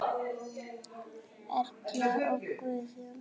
Erla og Guðjón.